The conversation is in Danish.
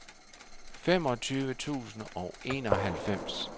femogtyve tusind og enoghalvfems